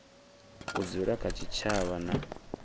u dzula kha tshitshavha na